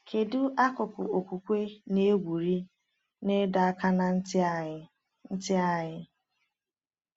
Kedu akụkụ okwukwe na-egwuri na ịdọ aka ná ntị anyị? ntị anyị?